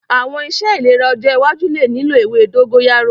Awọn iṣe ilera ọjọ iwaju le lilo ewe dogoyaro